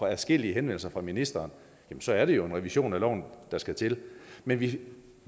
adskillige henvendelser fra ministeren så er det jo en revision af loven der skal til men vi